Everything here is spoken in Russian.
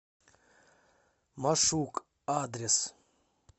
машук адрес